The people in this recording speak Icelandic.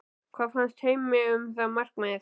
Hvað fannst Heimi um það markmið?